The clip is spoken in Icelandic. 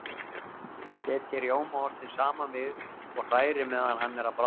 Setjið rjómaostinn saman við og hrærið meðan hann er að bráðna.